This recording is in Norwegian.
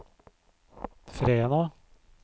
Fræna